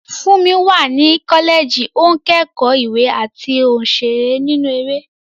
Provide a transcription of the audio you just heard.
Fúnmi wà ní kọ́lẹ́ẹ̀jì, ó ń kẹ́kọ̀ọ́ ìwé àti òṣèré nínú eré.